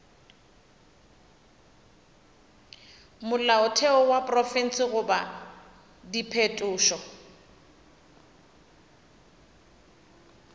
molaotheo wa profense goba diphetošo